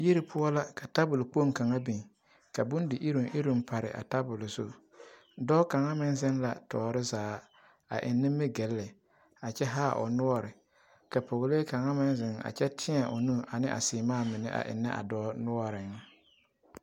Yiri poɔ la ka tabol kpoŋ kaŋa biŋ ka bondi iruŋ iruŋ pare a tabol zu, dɔɔ kaŋa meŋ zeŋ la tɔɔre zaa a eŋ nimigilli a kyɛ haa o noɔre ka pɔgelee kaŋa meŋ zeŋ a kyɛ tēɛ o nu ane a seemaa mine a ennɛ a dɔɔ noɔreŋ.